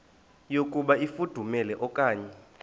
yokuba ifudumele okanye